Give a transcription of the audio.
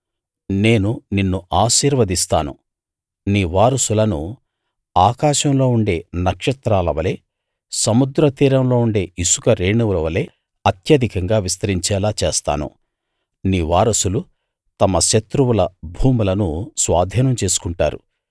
నేను నిన్ను ఆశీర్వదిస్తాను నీ వారసులను ఆకాశంలో ఉండే నక్షత్రాల వలే సముద్ర తీరంలో ఉండే ఇసుక రేణువులవలే అత్యధికంగా విస్తరించేలా చేస్తాను నీ వారసులు తమ శత్రువుల భూములను స్వాధీనం చేసుకుంటారు